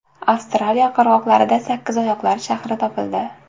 Avstraliya qirg‘oqlarida sakkizoyoqlar shahri topildi.